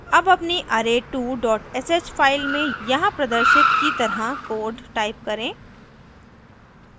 अब अपनी array2 sh file में यहाँ प्रदर्शित की तरह code type करें